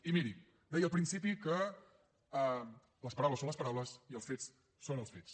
i miri deia al principi que les paraules són les paraules i els fets són els fets